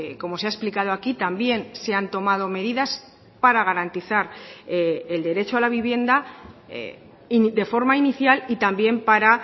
como se ha explicado aquí también se han tomado medidas para garantizar el derecho a la vivienda de forma inicial y también para